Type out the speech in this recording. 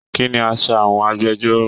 Kínní aṣọ àwọn agbẹ̀jọ́ro?